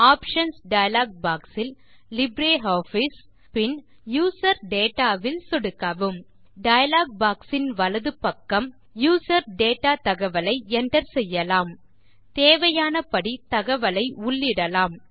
options dialog box இல் LibreOffice பின் user data இல் சொடுக்கவும் டயலாக் பாக்ஸ் இன் வலப்பக்கம் யூசர் டேட்டா தகவலை enter செய்யலாம் தேவையானபடி தகவல்களை உள்ளிடலாம்